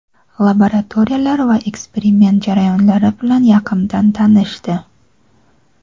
laboratoriyalar va eksperiment jarayonlari bilan yaqindan tanishdi.